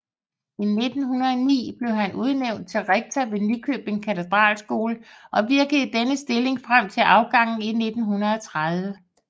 I 1909 blev han udnævnt til rektor ved Nykøbing Katedralskole og virkede i denne stilling frem til afgangen i 1930